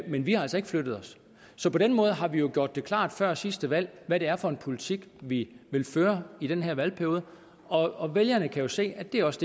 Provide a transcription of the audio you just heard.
men vi har altså ikke flyttet os så på den måde har vi jo gjort det klart før sidste valg hvad det er for en politik vi vil føre i den her valgperiode og vælgerne kan se at det også